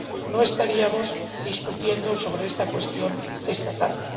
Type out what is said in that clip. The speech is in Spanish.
no estaríamos debatiendo sobre esta cuestión esta tarde.